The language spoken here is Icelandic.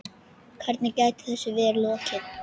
Hvernig gæti þessu verið lokið?